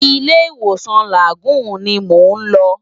Ilé Iwósan Lágúùn ni mó n lò